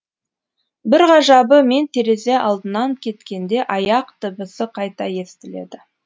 бір ғажабы мен терезе алдынан кеткенде аяқ дыбысы қайта естіледі